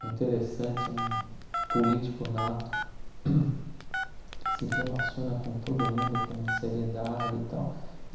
é interessante, é um político nato, se relaciona com todo mundo com uma seriedade e tal.